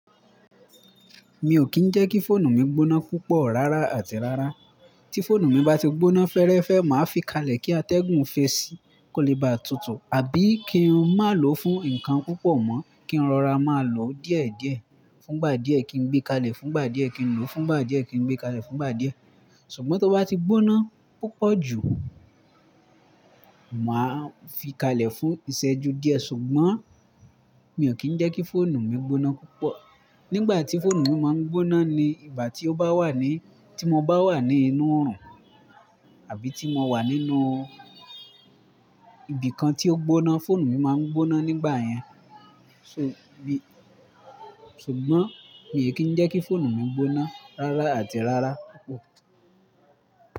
Mi ò kì í jẹ́ kí fóònù mi gbóná púpọ̀ rárá àti rárá. Tí fóònù mi bá ti gbóná fẹ́rẹ́fẹ́, màá fi kalẹ̀ kí atẹ́gùn fẹ́ ẹ sí, kó lè ba tutù, àbí kí n má lò fún nkan púpọ̀ mọ́, kí n rọra máa lò ó díẹ̀díẹ̀. Fún ìgbà díẹ̀ kí n gbé kalẹ̀, fún ìgbà díẹ̀ kí n lò ó, fún ìgbà díẹ̀ kí n gbé kalẹ̀, fún ìgbà díẹ̀. Ṣùgbọ́n tó bá ti gbóná púpọ̀ jù, màá fi kalẹ̀ fún ìṣẹ́ju díẹ̀. Ṣùgbọ́n mi ò kí ń jẹ́ kí fóònù mi gbóná púpọ̀. Nígbà tí fóònù mi máa ń gbóná ni ìgbà tí ó bá wà ní, tí mo bá wà ní inú oòrùn, àbí tí mo wà nínú ibìkan tí ó gbóná, fóònù mi máa ń gbóná nígbà yẹn. Ṣò bí-- ṣùgbọ́n mi ò kí ń jẹ́ kí fóònù mi gbóná rárá àti rárá.